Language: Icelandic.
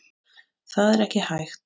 Það er ekki hægt